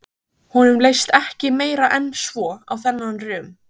Honum leist ekki meira en svo á þennan rum.